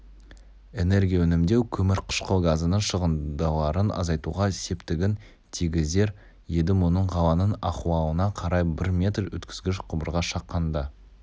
энергия үнемдеу көмір қышқыл газының шығындыларын азайтуға септігін тигізер еді мұның қаланың ахуалына қарай бір метр өткізгіш құбырға шаққанда